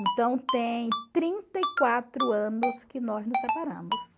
Então tem trinta e quatro anos que nós nos separamos.